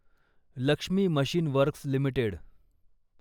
Lakshmi machine works limited